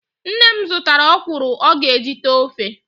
Nne m zụtara ọkwụrụ ọ ga-eji tee ofe